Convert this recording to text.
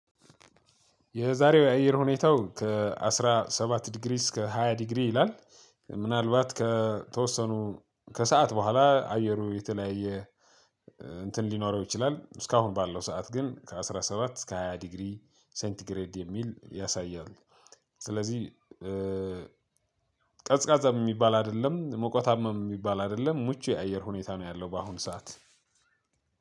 የዛሬው የአየር ሁኔታው ከአስራ ሰባት ዲግሪ እስከ ሃያ ዲግሪ ይላል ምናልባት ከተወሰኑ ከሰአት በኋላ አየሩ የተለያየ እንትን ሊኖረው ይችላል እስካሁን ባለው ሰዓት ግን ከአስራ ሰባት እስከ ሃያ ዲግሪ ሴንቲግሬድ የሚል ያሳያል። ስለዚህ ቀዝቃዛም የሚባል አይደለም መቆጣምም የሚባል አይደለም ሙቹ የአየር ሁኔታ ነው ያለው። በአሁን ሰዓት